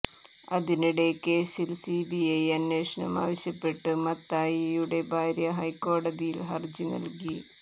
അതിനിടെ കേസിൽ സിബിഐ അന്വേഷണം ആവശ്യപ്പെട്ട് മത്തായിയുടെ ഭാര്യ ഹൈക്കോടതിയിൽ ഹർജി നൽകി